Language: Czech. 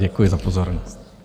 Děkuji za pozornost.